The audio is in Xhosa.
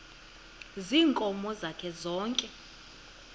ziinkomo zakhe zonke